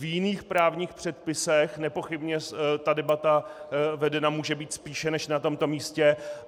V jiných právních předpisech nepochybně ta debata vedena může být spíše než na tomto místě.